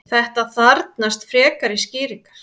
þetta þarfnast frekari skýringar